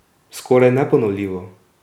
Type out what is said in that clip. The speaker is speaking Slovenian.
Skoraj neponovljivo!